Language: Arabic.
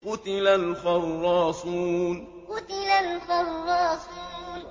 قُتِلَ الْخَرَّاصُونَ قُتِلَ الْخَرَّاصُونَ